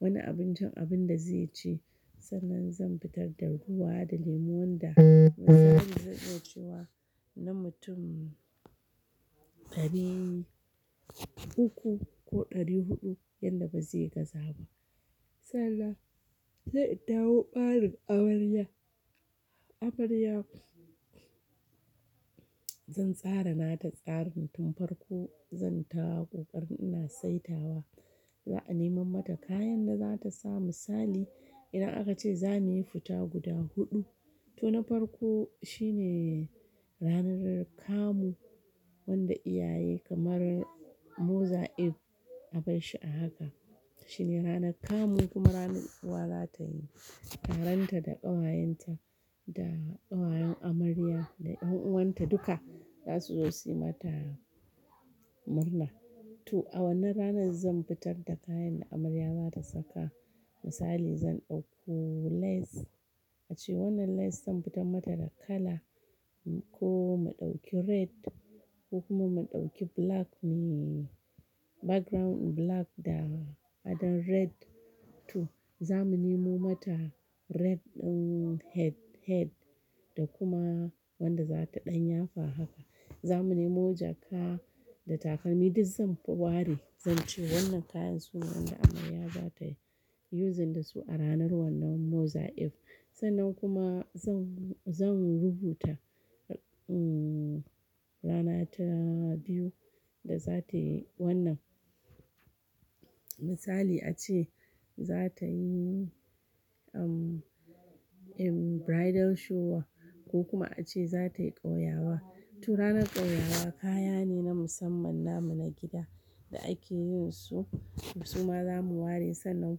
wani abincin abin da zai ci. Sannan zan fitar da ruwa da lemuwan da zai zo cewa na mutum ɗari uku ko ɗari huɗu yanda ba zai gaza ba. Sallah, zai ɗauko ɓarin amarya. Amarya zan tsara na ta tsarin tun farko zan tara ƙoƙarin ina saitawa. Za a nemo mata kayan da za ta samu misali idan aka ce za mu yi fita guda huɗu, to na farko shine ranar kamu wanda iyaye kamar Mother if abar shi a haka. Shine rana kamu kuma ranar uwa za ta yi. Ƙaranta da ƙawayenta da ƙawayen amarya da ƴan uwanta duka za su zo su yi mata murna. To a wannan ranar zan fitar da kayan da amarya za ta saka. Misali zan ɗauko lace ace wannan lace zan fitar mata da kala ko mu ɗauki red ko kuma mu ɗauki black me background black da faɗan red. To za mu nemo mata red ɗin head-head da kuma wanda za ta ɗanyafa haka. Za mu nemo jaka da takalmi. Duk zan ware zan ce wannan kayan su ne wanda amarya za ta yuuzin da su a ranar wannan Mother if. Sannan kuma zan-zan rubuta rana ta biyu da za ta yi wannan. Misali ace za ta yi bridal shower ko kuma ace za ta yi ƙauyawa. To ranar ƙauyawa kaya ne na musamman namu na gida da ake yin su. Su ma za mu ware sannan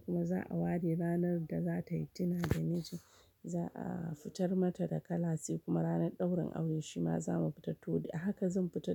kuma za a ware ranar da za ta yi tuna da miji. Za a fitar mata da kala sai kuma ranar ɗaurin aure shi ma za mu fita to haka zan fita.